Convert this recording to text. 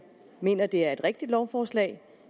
mener det er et rigtigt lovforslag